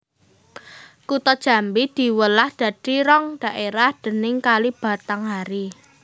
Kutha Jambi diwelah dadi rong dhaérah déning Kali Batanghari